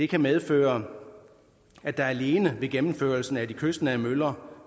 kan medføre at der alene ved gennemførelsen af de kystnære møller